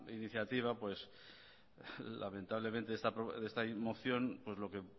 iniciativa lamentablemente esta moción pues lo que